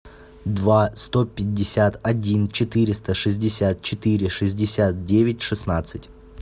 два сто пятьдесят один четыреста шестьдесят четыре шестьдесят девять шестнадцать